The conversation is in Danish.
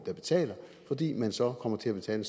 der betaler fordi man så kommer til at betale